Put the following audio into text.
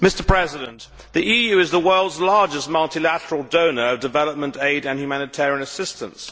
Mr President, the EU is the world's largest multilateral donor of development aid and humanitarian assistance.